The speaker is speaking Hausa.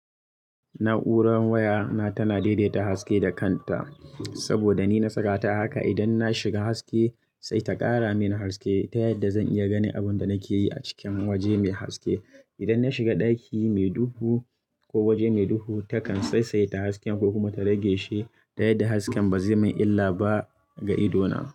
Na'uran waya na tana daidaita haske da kanta saboda ni na saka ta haka. Idan na shiga haske sai ta ƙara mini haske ta yadda zan iya ganin abin da nake yi a cikin waje mai haske. Idan na shiga ɗaki mai duhu ko waje mai duhu, takan saisaita haske ko kuma ta rage shi ta yadda hasken ba zai yi min illa ba ga idona.